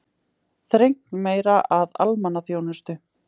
Þrengt meira að almannaþjónustu